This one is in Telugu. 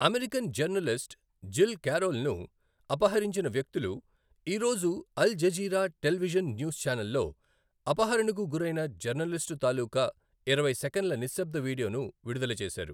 అమెరికన్ జర్నలిస్ట్ జిల్ కారోల్ను అపహరించిన వ్యక్తులు, ఈ రోజు అల్ జజీరా టెలివిజన్ న్యూస్ ఛానెల్లో అపహరణకు గురైన జర్నలిస్టు తాలూకా ఇరవై సెకన్ల నిశ్శబ్ద వీడియోను విడుదల చేశారు.